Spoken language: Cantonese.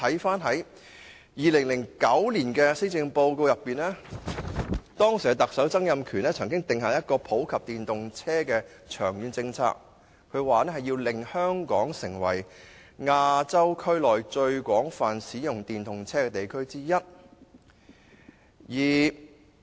早在2009年施政報告，時任特首曾蔭權已定下普及電動車的長遠政策目標，表示要令香港成為亞洲區內最廣泛使用電動車的地區之一。